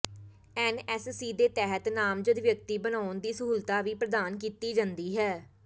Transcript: NSC ਦੇ ਤਹਿਤ ਨਾਮਜ਼ਦ ਵਿਅਕਤੀ ਬਣਾਉਣ ਦੀ ਸਹੂਲਤ ਵੀ ਪ੍ਰਦਾਨ ਕੀਤੀ ਜਾਂਦੀ ਹੈ